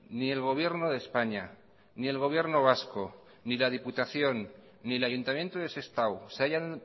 ni el gobierno de españa ni el gobierno vasco ni la diputación ni el ayuntamiento de sestao se hayan